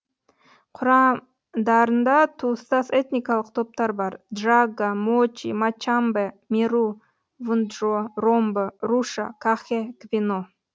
құрамдарында туыстас этникалық топтар бар джагга мочи мачамбе меру вунджо ромбо руша кахе гвено